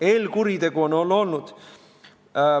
Eelkuritegu on olnud.